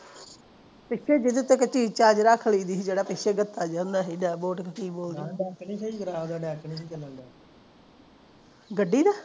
ਪਿੱਛੇ ਜਿਹਦੇ ਕੋਈ ਚੀਜ ਚਾਜ ਰੱਖ ਲੀ ਜਿਹੜਾ ਪਿੱਛੇ ਜਤਾ ਜਾ ਹੁੰਦਾ ਸੀ ਡੇਪ ਬੋਟ ਕੇ ਕਿ ਬੋਲਦੇ ਗੱਡੀ ਦਾ